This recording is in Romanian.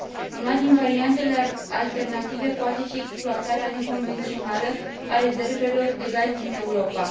Una din variantele alternative poate fi exploatarea neconvențională a rezervelor de gaz din Europa.